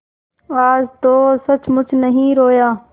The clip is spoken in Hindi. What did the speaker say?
आज तो सचमुच नहीं रोया